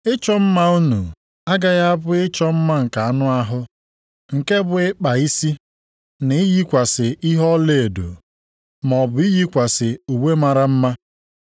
Ịchọ mma unu agaghị abụ ịchọ mma nke anụ ahụ, nke bụ ịkpa isi, na iyikwasị ihe ọlaedo, maọbụ iyikwasị uwe mara mma.